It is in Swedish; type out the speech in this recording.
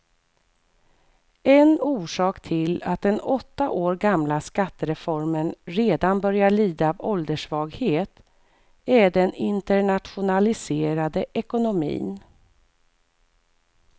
En orsak till att den åtta år gamla skattereformen redan börjar lida av ålderssvaghet är den internationaliserade ekonomin.